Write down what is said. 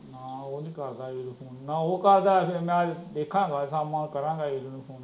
ਨਾ, ਉਹ ਨੀ ਕਰਦਾ ਨਾ ਉਹ ਕਰਦਾ ਮੈ ਵੇਖਾਂਗਾ ਅੱਜ ਸ਼ਾਮਾਂ ਨੂੰ ਕਰਾਂਗਾ ਇਲੁ ਨੂੰ ਫ਼ੋਨ